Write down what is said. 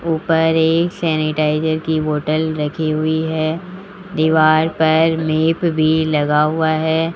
ऊपर एक सैनिटाइजर की बोतल रखी हुई है दीवार पर मैप भी लगा हुआ है।